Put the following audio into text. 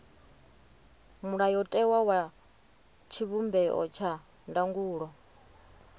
mulayotewa wa tshivhumbeo tsha ndangulo